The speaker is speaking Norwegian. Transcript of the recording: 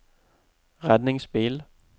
redningsbil